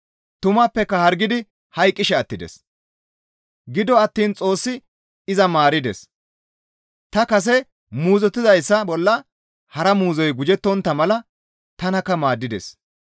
Tumappeka izi hargidi hayqqishe attides; gido attiin Xoossi iza maarides; ta kase muuzottizayssa bolla hara muuzoy gujettontta mala tanakka maaddides.